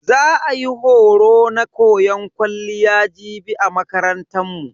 Za a yi horo na koyan kwalliya jibi a makarantan mu.